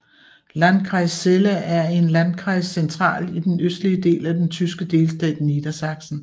Landkreis Celle er en Landkreis centralt i den østlige del af den tyske delstat Niedersachsen